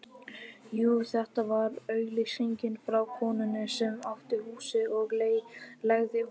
Jú, þetta var auglýsing frá konunni sem átti húsið og leigði honum